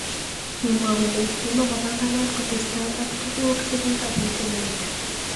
kimwa kole kimakombangat kotestai ak tukuk chekikabit eng let